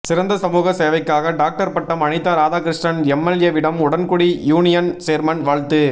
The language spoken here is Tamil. சிறந்த சமூக சேவைக்காக டாக்டர் பட்டம் அனிதா ராதாகிருஷ்ணன் எம்எல்ஏவிடம் உடன்குடி யூனியன் சேர்மன் வாழ்த்து